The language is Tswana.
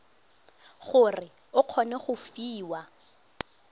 gore o kgone go fiwa